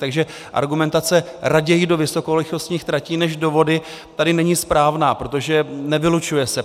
Takže argumentace "raději do vysokorychlostních tratí než do vody" tady není správná, protože nevylučuje se.